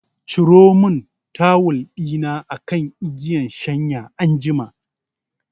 Ciro mun tawul ɗina akan igiyan shanya anjima